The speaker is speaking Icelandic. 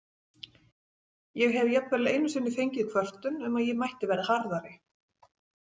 Ég hef jafnvel einu sinni fengið kvörtun um að ég mætti vera harðari.